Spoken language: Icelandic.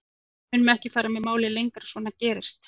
En við munum ekki fara með málið lengra, svona gerist